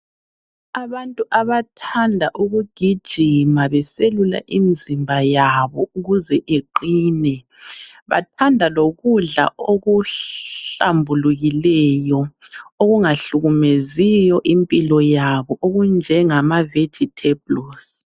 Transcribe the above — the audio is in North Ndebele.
Abantu abathanda ukugijima beselula imzimba yabo ukuze iqine bathanda lokudla okuhlambulikileyo okungahlukumeziyo impilo yabo okunjengama vegetables.